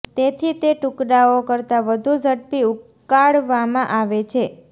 તેથી તે ટુકડાઓ કરતાં વધુ ઝડપી ઉકાળવામાં આવે છે